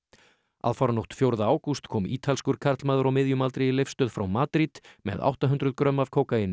aðfaranótt fjórða ágúst kom ítalskur karlmaður á miðjum aldri í Leifsstöð frá Madrid með átta hundruð grömm af kókaíni